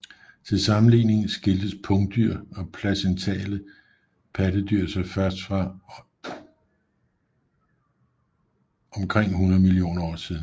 Til sammenligning skiltes pungdyr og placentale pattedyr sig først for omkring 100 millioner år siden